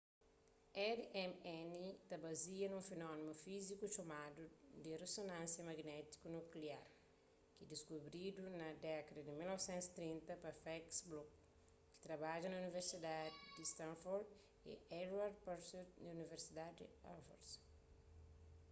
rmn ta bazia nun fenómenu fíziku txomadu di rezonansia magnétiku nukliar rmn ki diskubridu na dékada di 1930 pa felix bloch ta trabadja na universidadi di stanford y edward purcell di universidadi di harvard